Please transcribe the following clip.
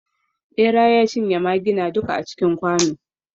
bera ya cinye maggina duka a cikin kwano